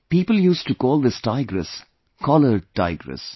People used to call this tigress collared tigress